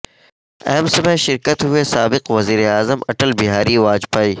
AIIMS میں شریک ہوئے سابق وزیر اعظم اٹل بہاری واجپئی